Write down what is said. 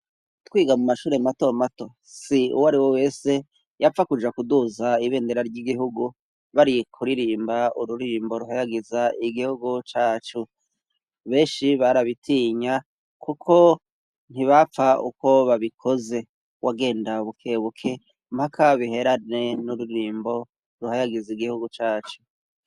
Twiga mu mashuri mato mato si uwo ariwe wese yapfa kuja kuduza ibendera ry'igihugu bari kuririmba ururimbo ruhayagiza igihugu cacu. Benshi barabitinya kuko ntibapfa uko babikoze wagenda bukebuke mpaka biherane n'ururimbo ruhayagiza igihugu cacu.